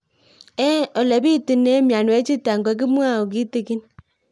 Ole pitune mionwek chutok ko kimwau kitig'ín